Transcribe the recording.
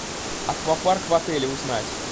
аквапарк в отеле узнать